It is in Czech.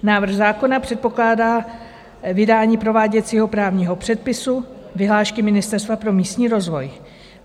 Návrh zákona předpokládá vydání prováděcího právního předpisu vyhlášky Ministerstva pro místní rozvoj.